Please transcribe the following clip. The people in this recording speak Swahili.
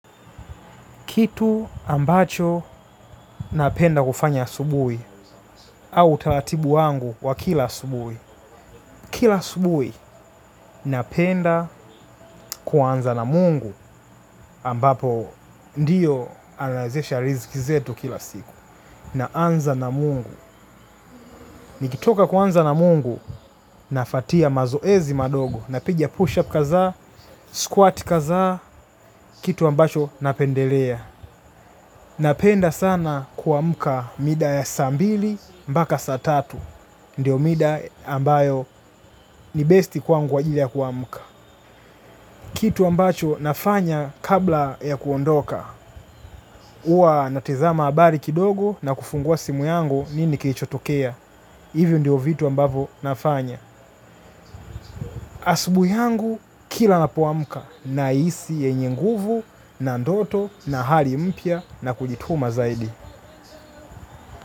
Kitu ambacho napenda kufanya asubuhi au utalatibu wangu wa kila asubuhi. Kila asubuhi napenda kuanza na mungu ambapo ndiyo anaezesha riziki zetu kila siku. Naanza na mungu. Nikitoka kuanza na mungu nafatia mazoezi madogo napiga push up kaza, squat kaza, kitu ambacho napendelea. Napenda sana kuamka mida ya saa mbili mbaka saa tatu. Ndiyo mida ambayo ni best kwangu kwa ajili ya kuamka. Kitu ambacho nafanya kabla ya kuondoka. Huwa natizama habari kidogo na kufungua simu yangu nini kilichotokea. Hivyo ndio vitu ambavo nafanya. Asubuhi yangu kila napoamka nahisi yenye nguvu na ndoto na hali mpya na kujituma zaidi.